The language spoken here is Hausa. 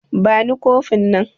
Bani kofin nan